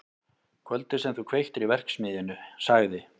Kvöldið sem þú kveiktir í verksmiðjunni- sagði